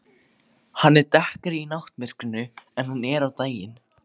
Hann er dekkri í náttmyrkrinu en hann er á daginn.